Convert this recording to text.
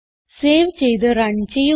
save ചെയ്ത് run ചെയ്യുക